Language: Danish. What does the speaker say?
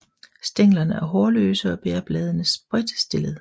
Stænglerne er hårløse og bærer bladene spredtstillet